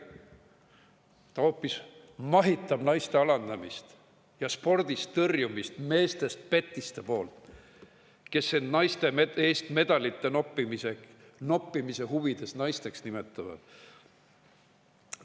Ta hoopis mahitab naiste alandamist ja spordist tõrjumist meestest petiste poolt, kes end naiste eest medalite noppimise huvides naisteks nimetavad.